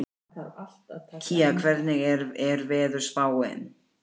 Lúsinda, hækkaðu í hátalaranum.